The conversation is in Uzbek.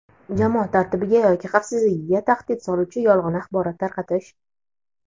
jamoat tartibiga yoki xavfsizligiga tahdid soluvchi yolg‘on axborot tarqatish;.